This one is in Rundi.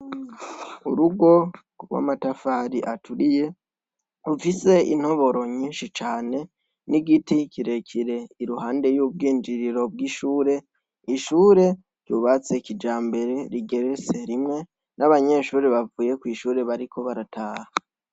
Urugo rw'amatafari aturiye ,rufise intoboro nyinshi cane, n'igiti kirekire iruhande y'ubwinjiriro bw'ishure ,ishure ryubatse kijambere rigeretse rimwe ,n'abanyeshure bavuye kw'ishure bariko barataha.